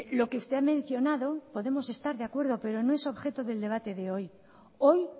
lo que usted ha mencionado podemos estar de acuerdo pero no es objeto del debate de hoy hoy